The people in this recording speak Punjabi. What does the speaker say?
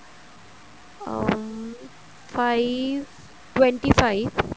uh five twenty five